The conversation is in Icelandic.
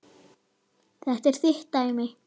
Þetta er þitt dæmi.